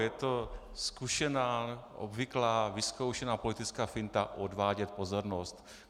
Je to zkušená, obvyklá, vyzkoušená politická finta - odvádět pozornost.